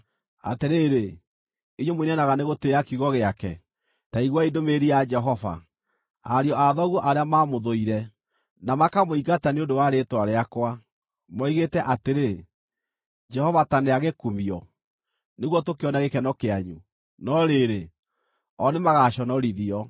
Atĩrĩrĩ, inyuĩ mũinainaga nĩ gũtĩĩa kiugo gĩake, ta iguai ndũmĩrĩri ya Jehova: “Ariũ a thoguo arĩa mamũthũire, na makamũingata nĩ ũndũ wa rĩĩtwa rĩakwa, moigĩte atĩrĩ, ‘Jehova ta nĩagĩkumio nĩguo tũkĩone gĩkeno kĩanyu!’ No rĩrĩ, o nĩmagaconorithio.